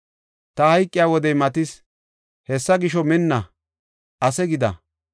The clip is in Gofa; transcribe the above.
“Ta hayqiya wodey matis. Hessa gisho, minna; ase gida.